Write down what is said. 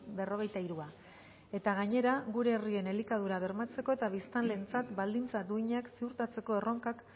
berrogeita hirua eta gainera gure herrien elikadura bermatzeko eta biztanleentzat baldintza duinak ziurtatzeko erronkak